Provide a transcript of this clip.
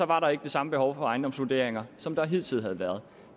var der ikke det samme behov for ejendomsvurderinger som der hidtil havde været